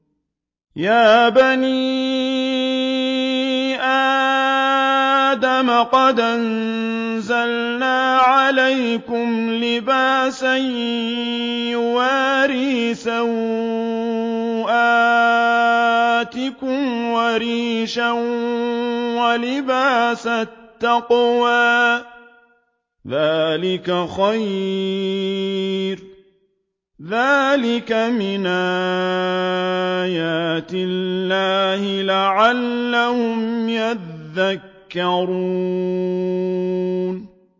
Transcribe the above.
يَا بَنِي آدَمَ قَدْ أَنزَلْنَا عَلَيْكُمْ لِبَاسًا يُوَارِي سَوْآتِكُمْ وَرِيشًا ۖ وَلِبَاسُ التَّقْوَىٰ ذَٰلِكَ خَيْرٌ ۚ ذَٰلِكَ مِنْ آيَاتِ اللَّهِ لَعَلَّهُمْ يَذَّكَّرُونَ